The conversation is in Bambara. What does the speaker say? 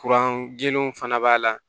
Kuran gɛlɛnw fana b'a la